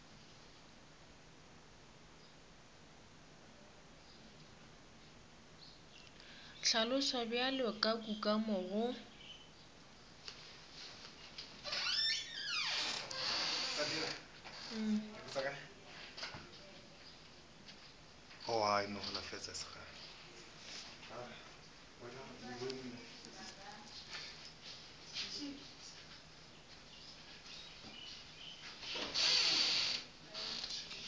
hlaloswa bjalo ka kukamo go